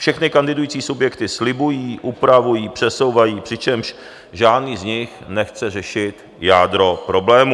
Všechny kandidující subjekty slibují, upravují, přesouvají, přičemž žádný z nich nechce řešit jádro problému.